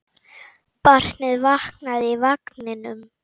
Barnið vaknaði í vagninum.